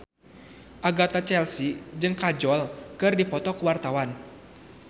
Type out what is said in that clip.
Agatha Chelsea jeung Kajol keur dipoto ku wartawan